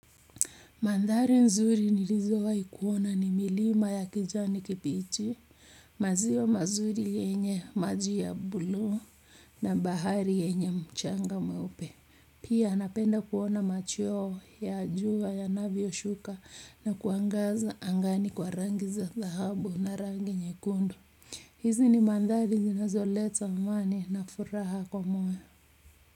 Mandhari nzuri nilizowahi kuona ni milima ya kijani kibichi, maziwa mazuri yenye maji ya bluu na bahari yenye mchanga mweupe. Pia napenda kuona machweo ya jua yanavyoshuka na kuangaza angani kwa rangi za dhahabu na rangi nyekundu. Hizi ni mandhari zinazoleta amani na furaha kwa moyo.